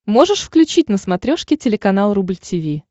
можешь включить на смотрешке телеканал рубль ти ви